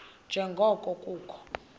nje ngoko kukho